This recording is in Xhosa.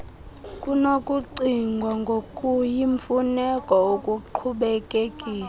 kunokucingwa ngokuyimfuneko ukuqhubekekisa